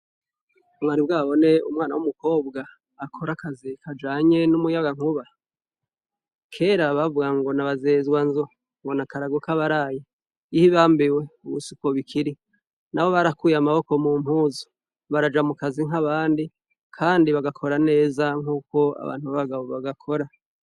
Mwari bwabone umwana umukobwa akora akazi k'umwuga wumuyagankuba? Kera bavuga ngo nabazezwanzu ngo nakarago kabaraye ihibambewe ubu siko bikiri nabo barakuye amaboko mumpuzu bakaja mukazi nkabandi kandi bakagakora neza nkuko abantu b'abagabo bagakora.